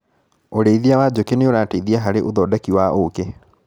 ũrĩithia wa njũkĩ nĩũrateithia harĩ ũthondeki wa ũkĩ.